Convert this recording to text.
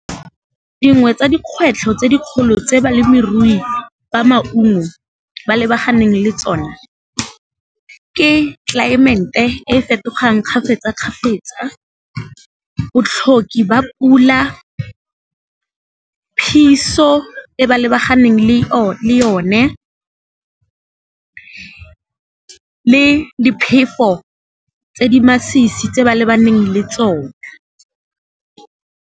Dingwe tsa dikgwetlho tse dikgolo tse balemirui ba maungo ba lebaganeng le tsone, ke climate e fetogang kgafetsa kgafetsa, botlhoki ba pula, phiso e ba lebaganeng le yone, le diphefo tse di masisi tse ba lebaneng le tsone.